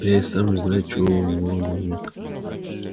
я и сама не знаю чего у него на уме